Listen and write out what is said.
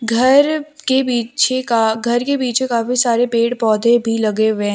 घर के पीछे का घर के पीछे काफी सारे पेड़ पौधे भी लगे हुए हैं।